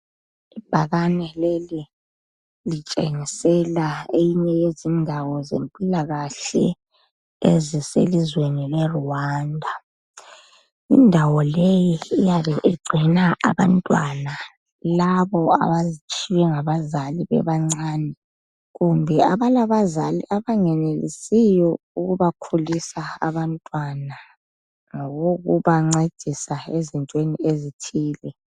ibhakane leli litshengisela eyinye yezindawo zempilakahle eziselizweni le Rwanda indawo leyi iyabe igcina abantwana labo abatshiywe ngabazali bebancane kumbe abalabazali abengenelisiyo ukuba khulisa abantwana ngokokubancedisa ezintweni ezithile